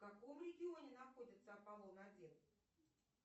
в каком регионе находится аполлон один